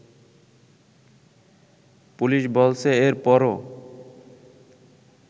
police বলছে এর পরও